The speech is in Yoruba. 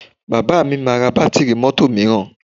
Bàbá mi máa ra bátíìrì mọ́tò mìíràn